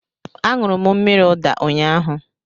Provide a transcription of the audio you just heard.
A ñụrụ mmírí ụda ụnyaahụ